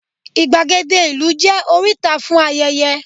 igbagede ìlú je oríta fún ayẹyẹ